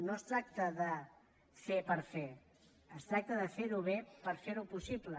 no es tracta de fer per fer és tracta de ferho bé per ferho possible